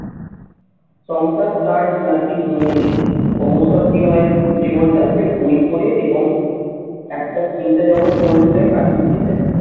সংসার তার নাকি মনে নেই অবসর জীবনে জীবনটা সে বই পড়ে এবং একটা চিন্তা জগত গড়ে তুলে কাটিয়ে দিতে চায়।